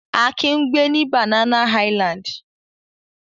Akin ń gbẹ ní Banana Island.